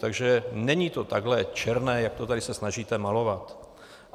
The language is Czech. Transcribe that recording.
Takže není to takhle černé, jak se to tady snažíte malovat.